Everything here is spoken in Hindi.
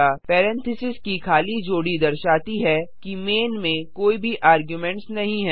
पेरेंथीसेस की खाली जोड़ी दर्शाती है कि मैन में कोई भी आर्गुमेंट्स नहीं है